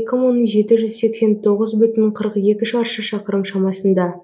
екі мың жеті жүз сексен тоғыз бүтін қырық екі шаршы шақырым шамасында